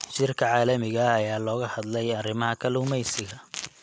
Shirka caalamiga ah ayaa looga hadlay arrimaha kalluumeysiga.